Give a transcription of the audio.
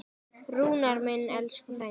Rúnar minn, elsku frændi.